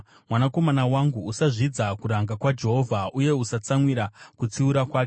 Mwanakomana wangu, usazvidza kuranga kwaJehovha, uye usatsamwira kutsiura kwake,